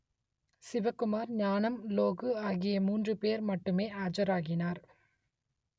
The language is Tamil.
சிவக்குமார் ஞானம் லோகு ஆகிய மூன்று பேர் மட்டுமே ஆஜராகினார்